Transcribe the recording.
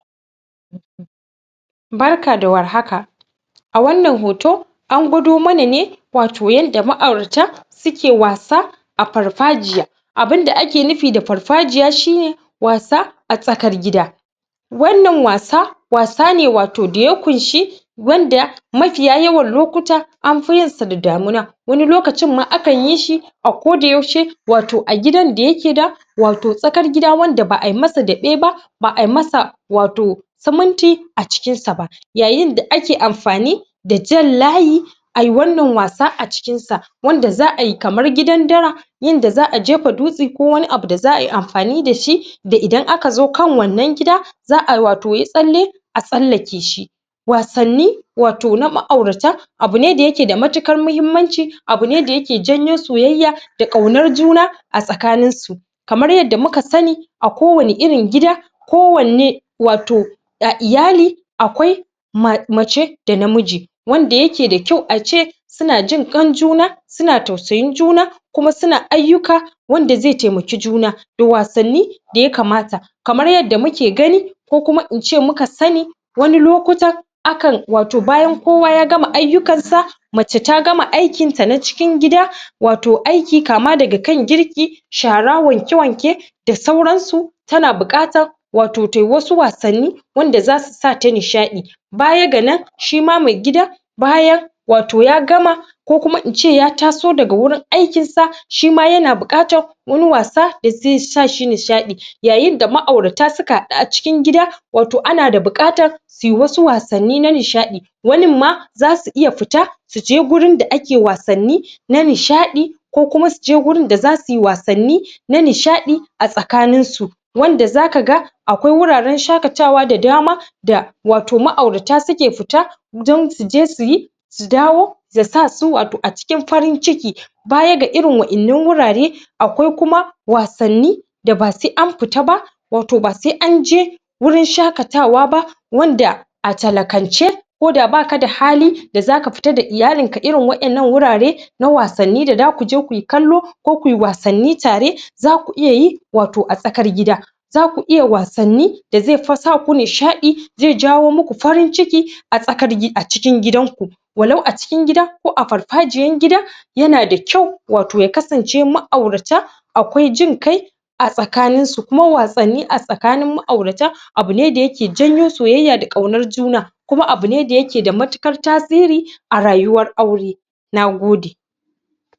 um Barka da warhaka, a wannan hoto an gwado mana ne wato yanda ma'aurata suke wasa a farfajiya abinda ake nufi da farfajiya shine wasa a tsakar gida wannan wasa wato wasa ne wato da ƙunshi wanda mafiya yawan lokuta anfi yinsu da damina wani lokacin ma akanyishi a koda yaushe wato a gidan da yake da wato tsakar gida wanda ba'ayi masa ɗabe ba ba'ai masa wato siminti a cikinsa ba yayin da ake amfani da da jan layi ai wannan wasa a cikinsa wanda za'ai kamar gidan dara yanda za'a jefa dutse ko wani abu da za'ayi amfani dashi da idan akazo kan wannan gida za'ai wato yi tsalle a tsallakeshi wasanni wato na ma'aurata abu ne da yake da matukar mahimmanci abu ne da yake janyo soyayya da ƙaunar juna a tsakaninsu kamar yanda muka sani a ko wane irin gida ko wanne wato a iyali akwai ma.. mace da namiji wanda wanda yake da kyau suna jin kan juna suna tausayin juna kuma suna ayyuka wanda ze temaki juna da da wasnni da ya kamata kamar yadda muke gani ko kuma ince muka sani wani lokutan akan wato bayan kowa ya gama ayyukansa mace ta gama aikinta na cikin gida wato aiki, kama daga kan girki shara, wanke-wanke da sauransu tana buƙatar wato tai wasu wasanni wanda zasu sa ta nishaɗi baya ga nan shima me gida bayan wato ya gama ko kuma ince ya taso daga wurin aikinsa shima yana buƙatar wani wasa da ze sa shi nishaɗi yayinda ma'aurata suka haɗu a cikin gida wato ana buƙatan suyi wasu wasanni na nishaɗi wanin ma zasu iya fita suje wajen da ake wasanni na nishaɗi ko kuma su je wajen da zasuyi wasanni na nishaɗi a tsakaninsu wanda zaka ga akwai wuraren shakatawa da dama da wato ma'aurata suke fita don suje suyi su dawo ya sa su wato a cikin farin ciki baya ga irin wa innan wurare akwai kuma wasanni da ba se an fita ba wato ba se anje wurin shakatawa ba wanda a talakance koda baka da hali da zaka fita da iyalinka irin wa innan wurare na wasanni da zakuje kuyi kallo ko kuyi wasanni tare zaku iya yi wato a tsakar gida zaku iya wasanni da ze..fa ze sa ku nishaɗi ze jawo muku farin ciki a tsakar.. a cikin gidanku walau a cikin gida ko a farfajiyan gida yana da kyau wato ya kasance ma'aurata akwai jin kai a tsakaninsu kuma wasanni a tsakanin ma'aurta abu ne da yake janyo soyayya da kaunar juna kuma abu ne da yake da matukar tasiri a rayuwar aure nagode